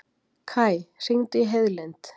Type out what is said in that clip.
Kaj, hringdu í Heiðlind.